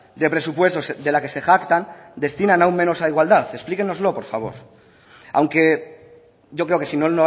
de presupuestos de la que se jactan destinan aún menos a igualdad explíquenoslos por favor aunque yo creo que si no